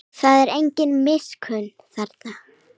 Það er engin miskunn þarna.